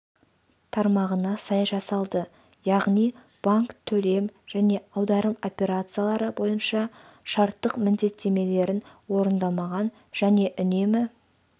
тармағына сай жасалды яғни банк төлем және аударым операциялары бойынша шарттық міндеттемелерін орындамаған және үнемі